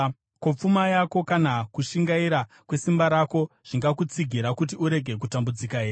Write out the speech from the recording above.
Ko, pfuma yako kana kushingaira kwesimba rako zvingakutsigira kuti urege kutambudzika here?